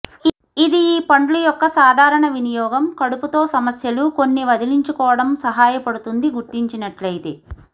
ఇది ఈ పండ్లు యొక్క సాధారణ వినియోగం కడుపు తో సమస్యలు కొన్ని వదిలించుకోవటం సహాయపడుతుంది గుర్తించినట్లయితే